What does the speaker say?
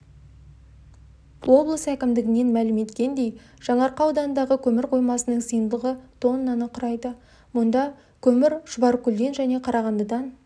облыс әкімдігінен мәлім еткендей жаңаарқа ауданындағы көмір қоймасының сыйымдылығы тоннаны құрайды мұнда көмір шұбаркөлден және қарағандыдан